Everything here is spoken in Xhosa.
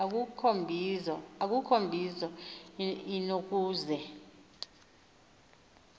akukho mbizo inokuze